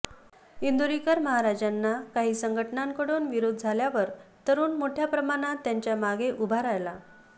इंदोरीकर महाराजांना काही संघटनांकडून विरोध झाल्यावर तरूण मोठ्या प्रमाणावर त्यांच्या मागे उभा राहिला